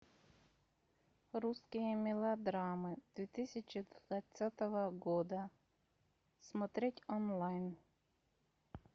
русские мелодрамы две тысячи двадцатого года смотреть онлайн